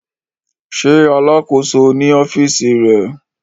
Ṣe Alakoso ni ọfiisi rẹ?